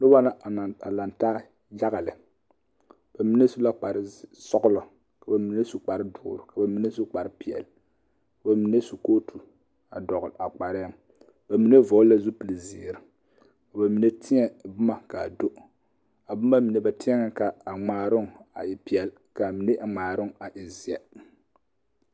Noba la a laŋ taa yaga lɛ ba mine su la kpare sɔglɔ ka mine su kpare dɔɔr ka bamine su kpare peɛl ka ba mine su kootu dɔgl a kparɛŋ bamine vɔgl la zupil ziire ka ba mine teɛ boma kaa do a boma mine ba teɛŋ ka ŋmaaroŋ a e peɛl kaa mine ŋmaaroŋ a e zeɛ.